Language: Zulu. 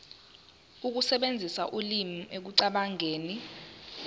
ukusebenzisa ulimi ekucabangeni